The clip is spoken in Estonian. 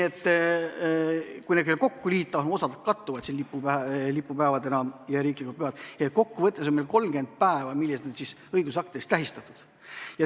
Kui need kõik kokku liita , siis kokku võttes on meil 30 päeva, mis on õigusaktides tähistatud.